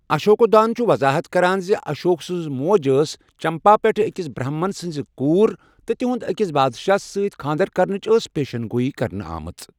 اشوکودان چھُ وَضاحَت کران زِ اشوک سنٛز موج ٲس چمپا پٮ۪ٹھ ٲکِس برہمن سنٛز کوٗر، تہٕ تہنٛد ٲکِس بادشاہَس سۭتۍ کھانٛدر کَرنٕچ ٲس پیشَن گوٗیی کرنہٕ آمٕژ۔